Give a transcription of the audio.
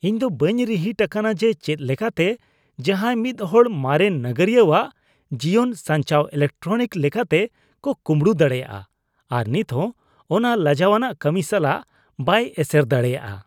ᱤᱧ ᱫᱚ ᱵᱟᱹᱧ ᱨᱤᱦᱤᱴ ᱟᱠᱟᱱᱟ ᱡᱮ ᱪᱮᱫ ᱞᱮᱠᱟᱛᱮ ᱡᱟᱦᱟᱭ ᱢᱤᱫ ᱦᱚᱲ ᱢᱟᱨᱮᱱ ᱱᱟᱜᱟᱨᱤᱭᱟᱣᱟᱜ ᱡᱤᱭᱚᱱ ᱥᱟᱧᱪᱟᱣ ᱮᱞᱮᱠᱴᱨᱚᱱᱤᱠ ᱞᱮᱠᱟᱛᱮ ᱠᱚ ᱠᱩᱢᱲᱩ ᱫᱟᱲᱮᱭᱟᱜᱼᱟ ᱟᱨ ᱱᱤᱛᱦᱚ ᱚᱱᱟ ᱞᱟᱡᱟᱣᱟᱱᱟᱜ ᱠᱟᱹᱢᱤ ᱥᱟᱞᱟᱜ ᱵᱟᱭ ᱮᱥᱮᱨ ᱫᱟᱲᱮᱭᱟᱜᱼᱟ